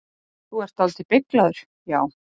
Þú ert dáldið beyglaður, já.